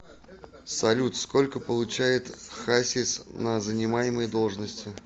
салют сколько получает хасис на занимаемой должности